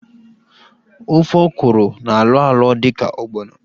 Ofe ọkwụrụ na-alọ alọ dịka ọgbọnọ